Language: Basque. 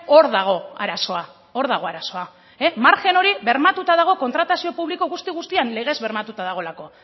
hor dago arazoa hor dago arazoa margen hori bermatuta dago kontratazio publiko guzti guztian legez bermatuta dagoelako